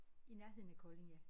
I nærheden af Kolding ja